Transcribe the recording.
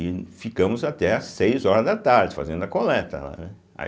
E ficamos até às seis horas da tarde fazendo a coleta lá, né? aí